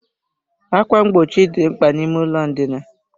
Ákwà mgbochi dị mkpa n'ime ụlọ ndina.